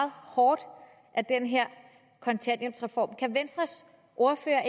hårdt af den her kontanthjælpsreform kan venstres ordfører